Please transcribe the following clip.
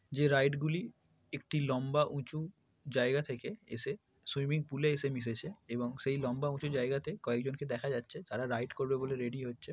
যে রাইড গুলি একটি লম্বা উচু জায়গা থেকে এসে সুইমিং পুলে এসে মিশেছে এবং সেই লম্বা উঁচু জায়গাতে কয়েকজনকে দেখা যাচ্ছে তারা রাইড করবে বলে রেডি হচ্ছে।